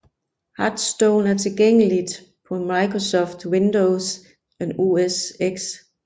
Hearthstone er tilgængeligt på Microsoft Windows og OS X